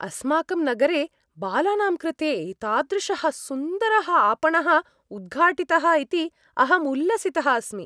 अस्माकं नगरे बालानां कृते एतादृशः सुन्दरः आपणः उद्घाटितः इति अहम् उल्लसितः अस्मि।